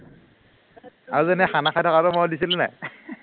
আৰু যেনে খানা খাই থকাটো মই দিছিলো নাই